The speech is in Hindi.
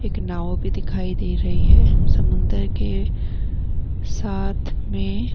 एक नाव भी दिखाई दे रही है समुंदर के साथ में।